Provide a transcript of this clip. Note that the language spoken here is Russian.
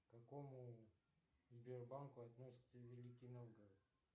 к какому сбербанку относится великий новгород